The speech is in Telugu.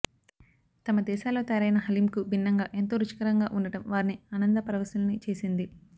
తమ దేశాల్లో తయారైన హలీంకు భిన్నంగా ఎంతో రుచికరంగా ఉండటం వారిని ఆనంద పరవశుల్ని చేసింది